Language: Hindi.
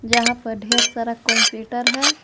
यहां पर ढेर सारा कंप्यूटर है।